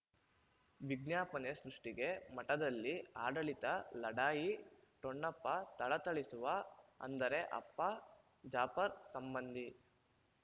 ವಿಜ್ಞಾಪನೆ ಸೃಷ್ಟಿಗೆ ಮಠದಲ್ಲಿ ಆಡಳಿತ ಲಢಾಯಿ ಟೋನ್ನಪ್ಪ ಥಳಥಳಿಸುವ ಅಂದರೆ ಅಪ್ಪ ಜಾಫರ್ ಸಂಬಂಧಿ